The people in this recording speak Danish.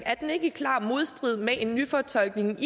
ikke i klar modstrid med en nyfortolkning